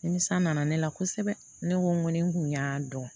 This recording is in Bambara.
Nimisa nana ne la kosɛbɛ ne ko n ko ni n kun y'a dɔn